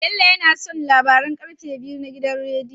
Bello yAna son labaran karfe biyu na gidan rediyo